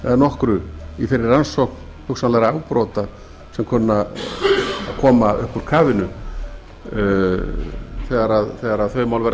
eða nokkru í þeirri rannsókn hugsanlegra afbrota sem kunna að koma upp úr kafinu þegar þau mál verða krufin